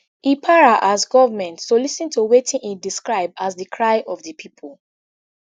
e para as goment to lis ten to wetin e describe as di cry of di pipo